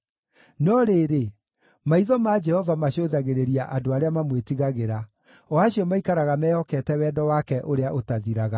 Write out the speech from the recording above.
No rĩrĩ, maitho ma Jehova macũthagĩrĩria andũ arĩa mamwĩtigagĩra, o acio maikaraga mehokete wendo wake ũrĩa ũtathiraga,